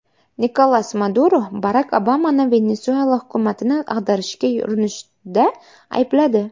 Nikolas Maduro Barak Obamani Venesuela hukumatini ag‘darishga urinishda aybladi.